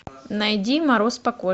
найди мороз по коже